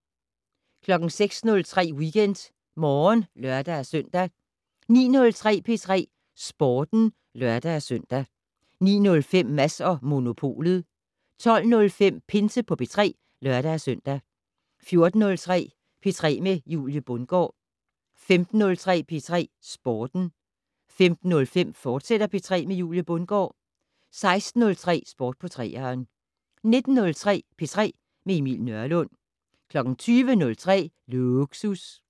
06:03: WeekendMorgen (lør-søn) 09:03: P3 Sporten (lør-søn) 09:05: Mads & Monopolet 12:05: Pinse på P3 (lør-søn) 14:03: P3 med Julie Bundgaard 15:03: P3 Sporten 15:05: P3 med Julie Bundgaard, fortsat 16:03: Sport på 3'eren 19:03: P3 med Emil Nørlund 20:03: Lågsus